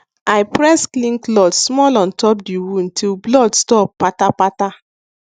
i press clean cloth small on top the wound till blood stop kpata kpata